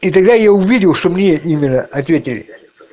и тогда я увидел что мне именно ответили